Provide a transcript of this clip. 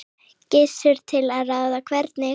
Gissur: Til að ráðstafa hvernig?